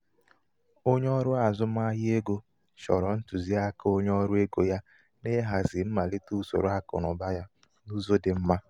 onye ọrụ azụmahịa ego chọrọ ntụziaka onye ọrụ ego ya n' ịhazi mmalite usoro akụnaụba ya n'ụzọ dị mma.